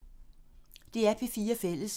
DR P4 Fælles